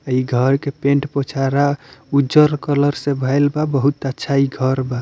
इ घर के पेंट पोचरा उजर कलर से भइल बा बहुत अच्छा इ घर बा।